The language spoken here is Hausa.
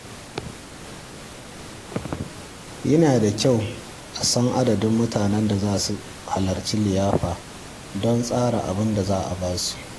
Yana da kyau a san adadin mutanen da za su halarci liyafar don tsara abin da za a ba su.